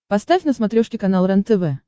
поставь на смотрешке канал рентв